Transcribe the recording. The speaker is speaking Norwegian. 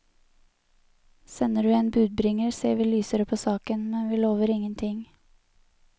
Sender du en budbringer ser vi lysere på saken, men vi lover ingenting.